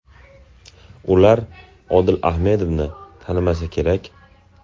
Ular Odil Ahmedovni tanimasa kerak.